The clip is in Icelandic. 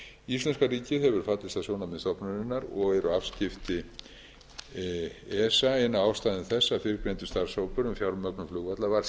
íslenska ríkið hefur fallist á sjónarmið stofnunarinnar og eru afskipti esa ein af ástæðum þess að fyrrgreindur starfshópur um fjármögnun flugvalla var